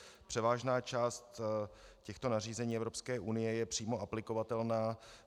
Převážná část těchto nařízení EU je přímo aplikovatelná.